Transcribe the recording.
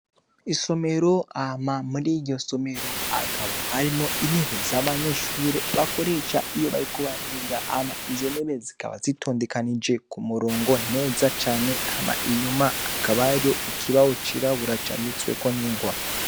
Isomero hama muri iryo somero hakaba hariyo intebe abanyeshure bakoresha iyo bariko bariga izo ntebe zikaba zitondekanije kumurongo neza cane hama inyuma hakaba hariyo ikibaho cirabura canditseko ningwa.